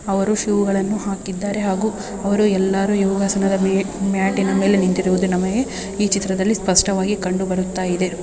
ಅವರು ಶೂ ಗಳನ್ನು ಹಾಕಿದ್ದಾರೆ ಹಾಗೂ ಅವರು ಎಲ್ಲರೂ ಯೋಗಾಸನದ ಮ್ಯಾಟಿನ ಮೇಲೆ ನಿಂತಿರುವುದು ನಮಗೆ ಈ ಚಿತ್ರದಲ್ಲಿ ಸ್ಪಷ್ಟವಾಗಿ ಕಂಡು ಬರುತ್ತಾ ಇದೆ.